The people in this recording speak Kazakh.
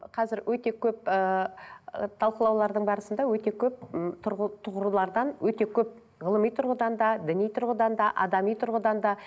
қазір өте көп ыыы ыыы талқылаулардың барысында өте көп м тұғырлардан өте көп ғылыми тұрғыдан да діни тұрғыдан да адами тұрғыдан да